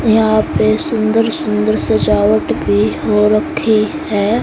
यहां पे सुंदर सुंदर सजावट भी हो रखी है।